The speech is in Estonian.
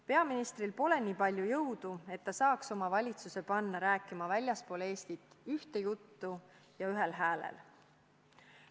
Peaministril pole piisavalt jõudu, et ta suudaks oma valitsuse panna väljaspool Eestit rääkima ühte juttu ja ühel häälel.